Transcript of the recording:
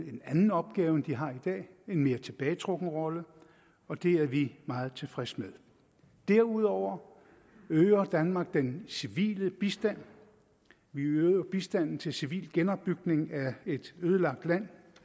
anden opgave end de har i dag en mere tilbagetrukket rolle og det er vi meget tilfredse med derudover øger danmark den civile bistand vi øger bistanden til civil genopbygning af et ødelagt land